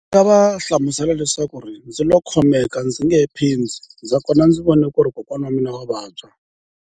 Ndzi nga va hlamusela leswaku ndzi lo khomeka ndzi nge he phindi, nakona ndzi vone ku ri kokwana wa mina wa vabya.